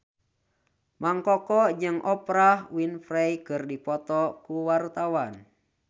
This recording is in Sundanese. Mang Koko jeung Oprah Winfrey keur dipoto ku wartawan